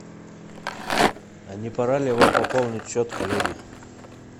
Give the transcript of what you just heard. а не пора ли вам пополнить счет коллеги